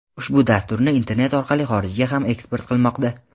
ushbu dasturni internet orqali xorijga ham eksport qilmoqda.